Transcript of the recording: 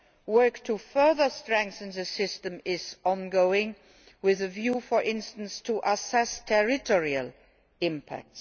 Work to further strengthen the system is ongoing, with a view for instance to assessing territorial impact.